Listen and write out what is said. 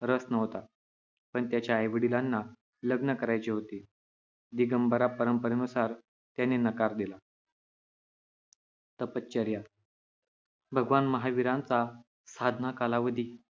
रस नव्हता. पण त्याच्या आई-वडिलांना लग्न करायचे होते. दिगंबरा परंपरेनुसार त्यांनी नकार दिला. तपश्चर्या भगवान महावीरांचा साधना कालावधी